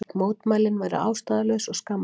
Mótmælin væru ástæðulaus og skammarleg